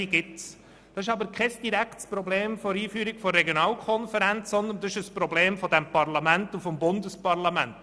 Dies ist aber kein direktes Problem der Einführung von Regionalkonferenzen, sondern ein Problem dieses Parlaments und des Bundesparlaments.